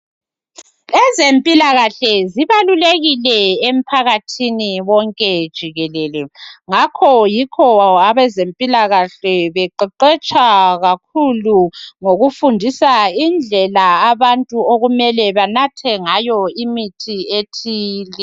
Ezempilakahle zibalulekile emphakathini wonke jikelele ngakho yikho abezempilakahle beqeqetsha kakhulu ngokufundisa indlela abantu okumele banathe ngayo imithi ethile.